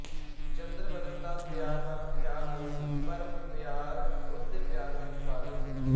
ਚੰਦਰ ਬਦਨ ਦਾ ਮਿਯਾਰ ਵੱਲ ਖਿਆਲ ਨਹੀਂ ਸੀ ਪਰ ਮਿਯਾਰ ਉਸਦੇ ਪਿਆਰ ਵਿੱਚ ਪਾਗਲ ਸੀ